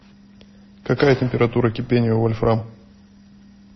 какая температура кипения у вольфрам